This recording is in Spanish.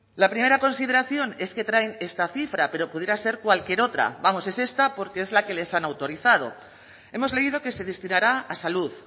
la primera consideración es que traen esta cifra pero pudiera ser cualquier otra vamos es esta porque es la que les han autorizado hemos leído que se destinará a salud